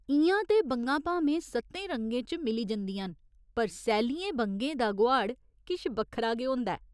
इ'यां ते बंगा भामें सत्तें रंगें च मिली जंदियां न पर सैल्लियें बंगे दा गोहाड़ किश बक्खरा गै होंदा ऐ।